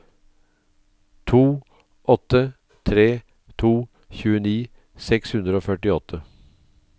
to åtte tre to tjueni seks hundre og førtiåtte